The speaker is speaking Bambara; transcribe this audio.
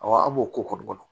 Awɔ an b'o koli ko kɔnɔ